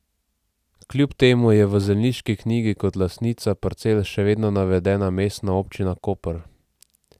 Kljub temu je v zemljiški knjigi kot lastnica parcel še vedno navedena Mestna občina Koper.